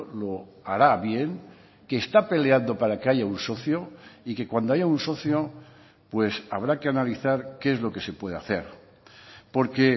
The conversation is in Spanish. lo hará bien que está peleando para que haya un socio y que cuando haya un socio pues habrá que analizar qué es lo que se puede hacer porque